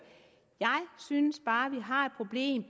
jeg synes bare vi har et problem